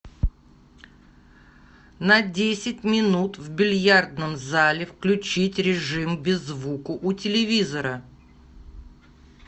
на десять минут в бильярдном зале включить режим без звука у телевизора